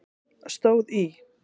stóð í